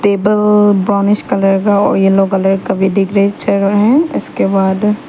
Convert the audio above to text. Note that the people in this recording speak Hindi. टेबल ब्राउनिश कलर का और येलो कलर का भी दिख रहे हैं इसके बाद --